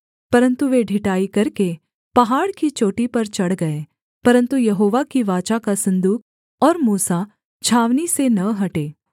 परन्तु वे ढिठाई करके पहाड़ की चोटी पर चढ़ गए परन्तु यहोवा की वाचा का सन्दूक और मूसा छावनी से न हटे